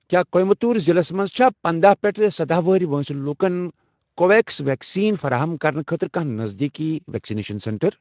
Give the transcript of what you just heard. کیٛاہ کویَمبَٹور ضلعس مَنٛز چھا پندہَ پیٹھٕ سدہَ وُہُر وٲنٛسہِ لوکَن کو وِو ویٚکس ویکسیٖن فراہم کرنہٕ خٲطرٕ کانٛہہ نزدیٖک ویکسِنیشن سینٹر؟